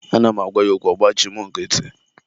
Ana m agwa ya okwu, ọ gbachi mụ nkịtị.